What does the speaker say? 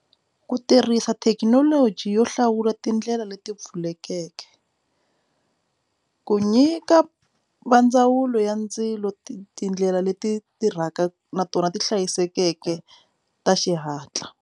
Ku tirhisa thekinoloji yo hlawula tindlela leti pfulekeke ku nyika va ndzawulo ya ndzilo tindlela leti tirhaka na tona ti hlayisekeke ta xihatla.